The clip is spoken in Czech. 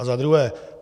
A za druhé.